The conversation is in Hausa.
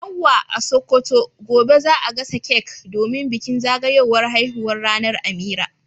Hawwa a Sokoto, gobe za a gasa kek domin bikin zagayowar ranar haihuwar Amira.